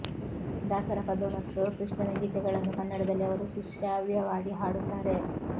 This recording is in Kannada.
ದಾಸರ ಪದ ಮತ್ತು ಕೃಷ್ಣನ ಗೀತೆಗಳನ್ನು ಕನ್ನಡದಲ್ಲಿ ಅವರು ಸುಶ್ರಾವ್ಯವಾಗಿ ಹಾಡುತ್ತಾರೆ